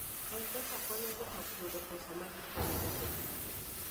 M-Pesa konyo joot yudo pesa ma gikonyorego.